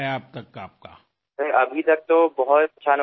sir आतापर्यंतचा अनुभव फारच चांगला आहे